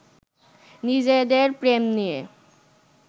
নিজেদের প্রেম নিয়ে